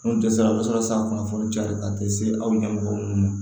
Mun dɛsɛra a bɛ sɔrɔ san kunnafoni caya ka di se aw ɲɛmɔgɔw ma